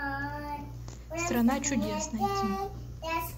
страна чудес найти